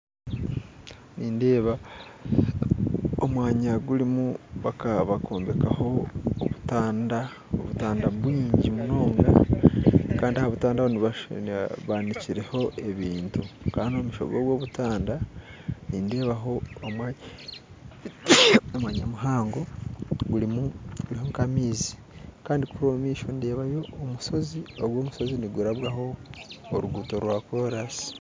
Nindeeba omumwanya bakombekaho obutanda obutanda bwingi munonga Kandi ahabutanda Aho banikireho ebintu Kandi omumaisho gobwo butanda nindeebaho omwanya muhango gurimu nkamaizi Kandi kuriya omumaisho nindeebaho omushozi ogwo omushozi nigurabwaho oruguuto rwa koolansi